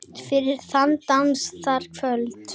Fyrir þann dans, það kvöld.